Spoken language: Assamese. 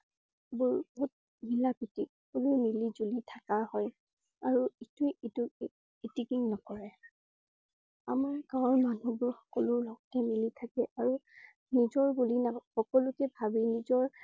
বোৰ বহুত মিলা প্ৰীতি সকলো মিলিজুলি থকা হয়। আৰু ইটোৱে ইটোক ইটিকিং নকৰে আমাৰ গাঁৱৰ মানুহ বোৰ সকলোৰ লগতে মিলি থাকে আৰু নিজৰ বুলি সকলোকে ভাবে নিজৰ